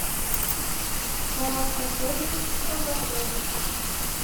салат с фасолью и колбасой